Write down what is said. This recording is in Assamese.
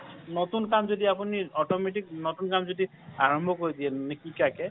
নতুন কাম যদি আপোনি automatic নতুন কাম যদি আৰম্ভ কৰি দিয়ে নিশিকাকে